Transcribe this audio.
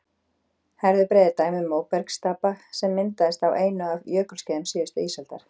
herðubreið er dæmi um móbergsstapa sem myndaðist á einu af jökulskeiðum síðustu ísaldar